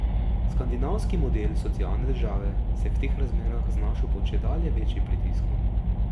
Skandinavski model socialne države se je v teh razmerah znašel pod čedalje večjim pritiskom.